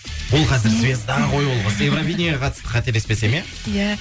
ол қазір звезда ғой ол қыз евровиденияға қатысты қателеспесем иә иә